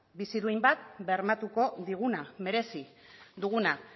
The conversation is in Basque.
bizi duin bat bermatuko diguna merezi duguna